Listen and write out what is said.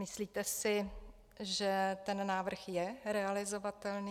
Myslíte si, že ten návrh je realizovatelný?